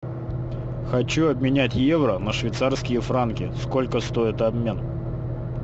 хочу обменять евро на швейцарские франки сколько стоит обмен